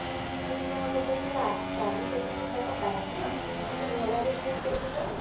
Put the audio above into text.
ସେଠି କଣ ଲୋକ ସବୁ ଚାଲି ଚାଲି ଯିବାଟା ବାଧ୍ୟ ମାନେ ଘୋଡା ବେସୀ ଉପରୁକୁ ଯାଉନି